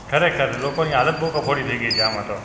ખરેખર, લોકોની હાલત બહું કફોડી થઈ ગઈ છે આમાં તો.